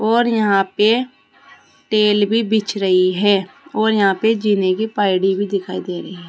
और यहां पे टेल भी बीछ रही है और यहां पर जीने की पाइडी भी दिखाई दे रही है।